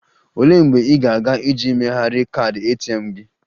Olee mgbe ị ga-aga iji megharịa kaadị ATM gị?